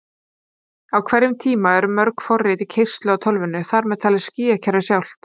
Á hverjum tíma eru mörg forrit í keyrslu á tölvunni, þar með talið stýrikerfið sjálft!